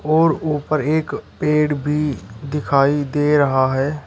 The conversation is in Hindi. और ऊपर एक पेड़ भी दिखाई दे रहा है।